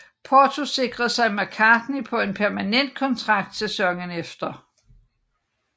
Porto sikrede sig McCarthy på en permanent kontrakt sæsonen efter